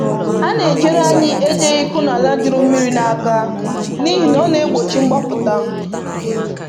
“A na‑ejere anyị ejeghị íkụ na ala juru mmiri n’aka n’ihi na ọ na‑egbochi mgbapụta